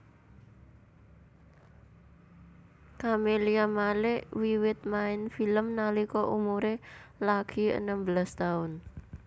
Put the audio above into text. Camelia Malik wiwit main film nalika umuré lagi enem belas taun